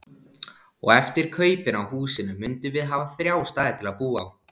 Og eftir kaupin á húsinu mundum við hafa þrjá staði til að búa á.